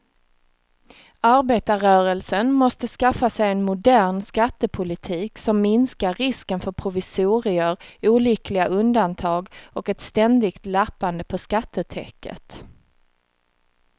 Arbetarrörelsen måste skaffa sig en modern skattepolitik som minskar risken för provisorier, olyckliga undantag och ett ständigt lappande på skattetäcket.